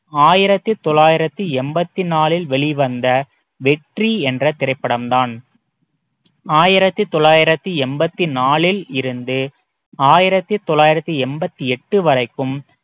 ஆயிரத்தி தொள்ளாயிரத்தி எண்பத்தி நாலில் வெளிவந்த வெற்றி என்ற திரைப்படம் தான் ஆயிரத்தி தொள்ளாயிரத்தி எண்பத்தி நாலில் இருந்து ஆயிரத்தி தொள்ளாயிரத்தி எண்பத்தி எட்டு வரைக்கும்